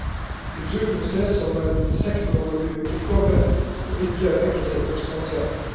Kultur må sees som en sektorovergripende oppgave, og ikke en enkelt sektors ansvar.